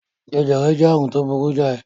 Jẹjẹrẹ jẹ́ àrùn tó burú jáì.